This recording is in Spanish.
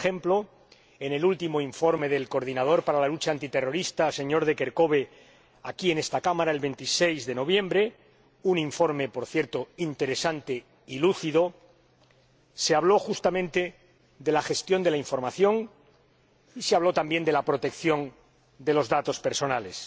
Así, por ejemplo, en el debate del último informe del coordinador para la lucha antiterrorista, señor de Kerchove, aquí en esta Cámara el 26 de noviembre —un informe, por cierto, interesante y lúcido—, se habló, justamente, de la gestión de la información y se habló también de la protección de los datos personales,